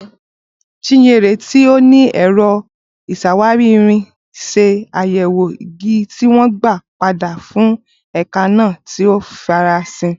Chinyere, tí ó ní ẹ̀rọ ìṣàwárí irin, ṣe àyẹ̀wò igi tí wọ́n gbà padà fún èékánná tí ó farasin.